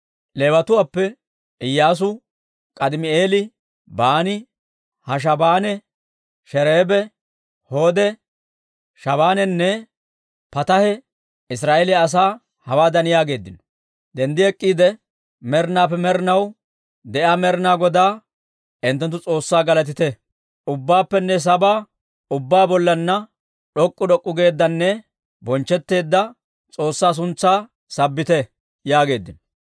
Leewatuwaappe Iyyaasu, K'aadimi'eeli, Baani, Hashaabanee, Sherebee Hodee, Shabaanenne Pataahe Israa'eeliyaa asaa hawaadan yaageeddino; «Denddi ek'k'iide, med'inaappe med'inaw de'iyaa Med'inaa Godaa hinttenttu S'oossaa galatite! ubbaappenne saba ubbaa bollanna d'ok'k'u d'ok'k'u geeddanne bonchchetteedda S'oossaa suntsaa sabbite» yaageeddino.